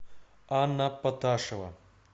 анна поташева